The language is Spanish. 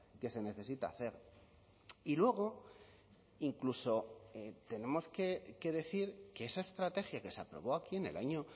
que se necesita hacer y luego incluso tenemos que decir que esa estrategia que se aprobó aquí en el año